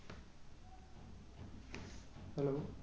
Hello